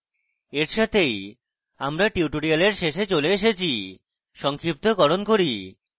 এই সাথেই আমরা tutorial শেষে চলে এসেছি সংক্ষিপ্তকরণ করি